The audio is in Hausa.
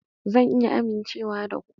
Zan iya amincewa da ku?